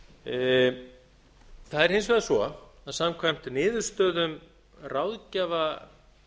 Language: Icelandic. það er hins vegar svo að samkvæmt niðurstöðum ráðgjafa